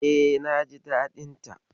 E, naji daɗin ta.